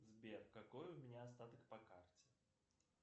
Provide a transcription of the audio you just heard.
сбер какой у меня остаток по карте